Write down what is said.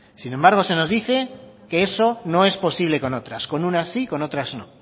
sin embargo se nos dice que eso no es posible con otras con unas sí con otras no